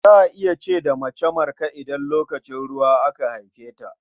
Za a ce da mace Marka idan lokacin ruwa aka haife ta.